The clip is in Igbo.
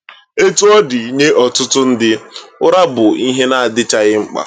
Etu ọ dị, nye ọtụtụ ndị, ụra bụ ihe na-adịchaghị mkpa.